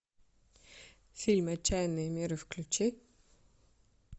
фильм отчаянные меры включи